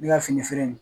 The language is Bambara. Ne ka fini feere in